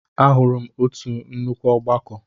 Ahụrụ m otu nnukwu ọgbakọ.